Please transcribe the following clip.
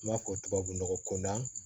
N b'a fɔ tubabu nɔgɔ ko na